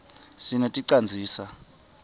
sineti canzisa